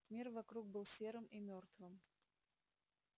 мир вокруг был серым и мёртвым